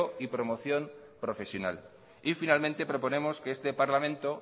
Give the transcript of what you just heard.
y promoción profesional y finalmente proponemos que este parlamento